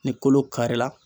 Ni kolo karila